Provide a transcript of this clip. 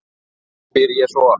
spyr ég svo.